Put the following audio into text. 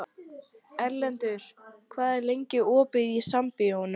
Erlendur, hvað er lengi opið í Sambíóunum?